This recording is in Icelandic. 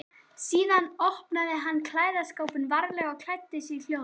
Síðan opnaði hann klæðaskápinn varlega og klæddi sig hljóðlega.